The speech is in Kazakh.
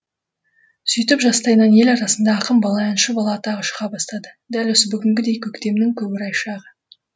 сөйтіп жастайынан ел арасында ақын бала әнші бала атағы шыға бастады дәл осы бүгінгідей көктемнің көкорай шағы